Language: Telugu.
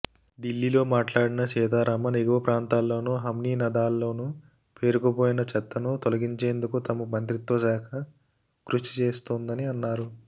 ఢిల్లీలో మాట్లాడిన సీతారామన్ ఎగువ ప్రాంతాల్లోనూ హిమనీనదాల్లోనూ పేరుకుపోయిన చెత్తను తొలగించేందుకు తమ మంత్రిత్వ శాఖ కృషి చేస్తోందని అన్నారు